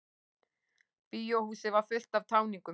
Bíóhúsið var fullt af táningum.